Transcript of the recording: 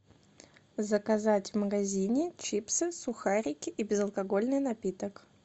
заказать в магазине чипсы сухарики и безалкогольный напиток